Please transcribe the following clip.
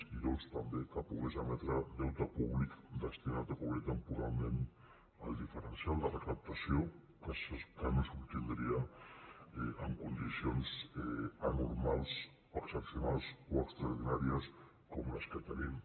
i dos també que pogués emetre deute públic destinat a cobrir temporalment el diferencial de recaptació que no s’obtindria en condicions anormals excepcionals o extraordinàries com les que tenim